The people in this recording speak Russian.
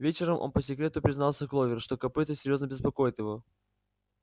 вечером он по секрету признался кловер что копыто серьёзно беспокоит его